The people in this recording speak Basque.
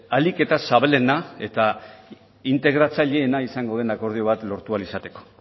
ahalik eta zabalena eta integratzaileena izango den akordio bat lortu ahal izateko